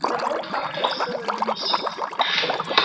да вот как-то разговорились